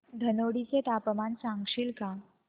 धनोडी चे तापमान सांगशील का